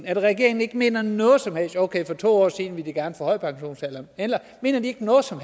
at regeringen ikke mener noget som helst okay for to år siden ville de gerne forhøje pensionsalderen eller mener de ikke noget som